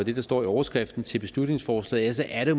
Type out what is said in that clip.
jo står i overskriften til beslutningsforslaget så er det